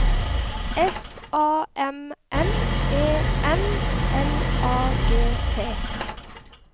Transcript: S A M M E N L A G T